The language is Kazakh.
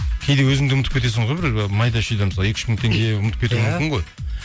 кейде өзің де ұмытып кетесің ғой бір майда шүйде мысалы екі үш мың теңге ұмытып кетуі мүмкін ғой